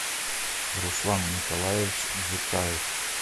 руслан николаевич дзукаев